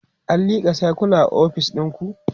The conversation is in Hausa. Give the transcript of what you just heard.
an lika sircula a ofis ɗinku?